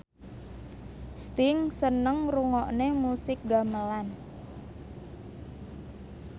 Sting seneng ngrungokne musik gamelan